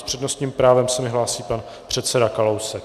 S přednostním právem se mi hlásí pan předseda Kalousek.